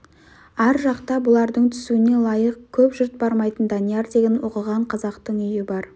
ар жақта бұлардың түсуіне лайық көп жұрт бармайтын данияр деген оқыған қазақтың үйі бар